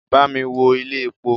Bámi wo ilé epo!